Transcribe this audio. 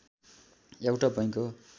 एउटा बैंक हो